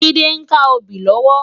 Jide n ká óbì lòwò